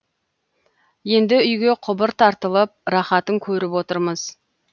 енді үйге құбыр тартылып рахатын көріп отырмыз